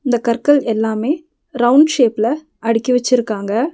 இந்த கற்கள் எல்லாமே ரவுண்ட் ஷேப்ல அடுக்கி வச்சிருக்காங்க.